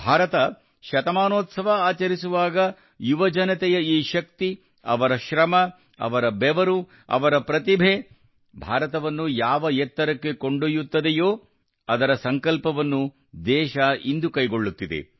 ಭಾರತ ಶತಮಾನೋತ್ಸವ ಆಚರಿಸುವಾಗ ಯುವಜನತೆಯ ಈ ಶಕ್ತಿ ಅವರ ಶ್ರಮ ಅವರ ಬೆವರು ಅವರ ಪ್ರತಿಭೆ ಭಾರತವನ್ನು ಯಾವ ಎತ್ತರಕ್ಕೆ ಕೊಂಡೊಯ್ಯುತ್ತದೆಯೋ ಅದರ ಸಂಕಲ್ಪವನ್ನು ದೇಶ ಇಂದು ಕೈಗೊಳ್ಳುತ್ತಿದೆ